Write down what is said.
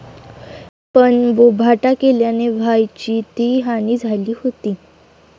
पण बोभाटा केल्याने व्हायची ती हानी झाली होती.